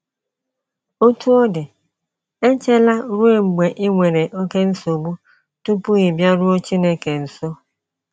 Otú ọ dị, echela ruo mgbe i nwere oké nsogbu tupu ị bịaruo Chineke nso.